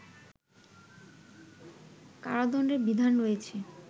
কারাদন্ডের বিধান রয়েছে